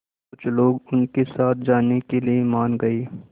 कुछ लोग उनके साथ जाने के लिए मान गए